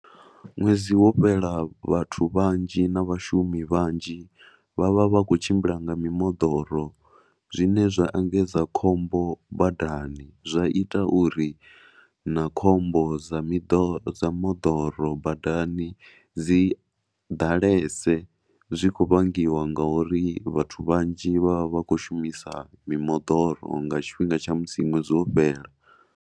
Ṅwedzi wo fhela, vhathu vhanzhi na vhashumi vhanzhi vha vha vha khou tshimbila nga miḓoro zwine zwa engedza khombo badani zwa ita uri na khombo dza miḓo, dza moḓoro badani dzi ḓalese dzi khou vhangiwa nga uri vhathu vhanzhi vha vha vha khou shumisa mimoḓoro nga tshifhinga tsha musi ṅwedzi wo fhela.